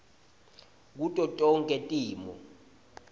kuto tonkhe timo